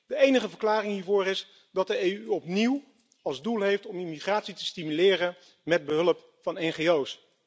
De enige verklaring hiervoor is dat de EU opnieuw als doel heeft om immigratie te stimuleren met behulp van ngo's.